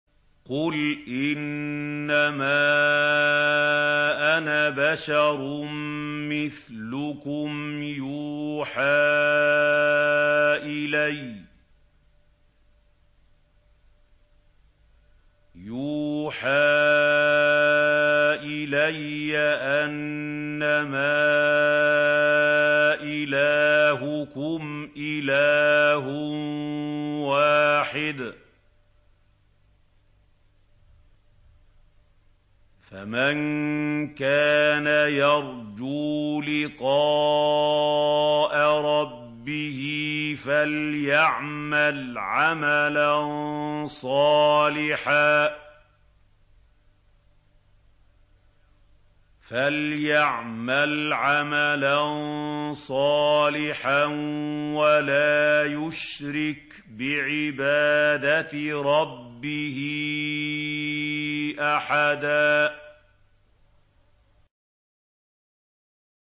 قُلْ إِنَّمَا أَنَا بَشَرٌ مِّثْلُكُمْ يُوحَىٰ إِلَيَّ أَنَّمَا إِلَٰهُكُمْ إِلَٰهٌ وَاحِدٌ ۖ فَمَن كَانَ يَرْجُو لِقَاءَ رَبِّهِ فَلْيَعْمَلْ عَمَلًا صَالِحًا وَلَا يُشْرِكْ بِعِبَادَةِ رَبِّهِ أَحَدًا